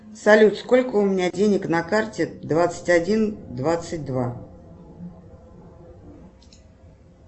салют сколько у меня денег на карте двадцать один двадцать два